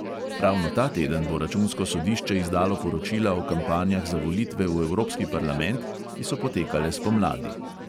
Ravno ta teden bo računsko sodišče izdalo poročila o kampanjah za volitve v evropski parlament, ki so potekale spomladi.